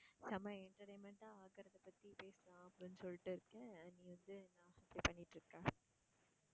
செம entertainment ஆ ஆக்குறத பத்தி பேசலாம் அப்படின்னு சொல்லிட்டிருக்கேன் நீ வந்து என்ன இப்படி பண்ணிட்டிருக்க?